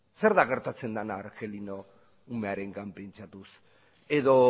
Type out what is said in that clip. zer da gertatzen dena argelino umearengan pentsatuz edo